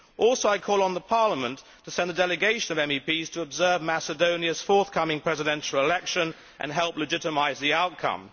Also, I call on Parliament to send a delegation of MEPs to observe Macedonia's forthcoming presidential election and help legitimise the outcome.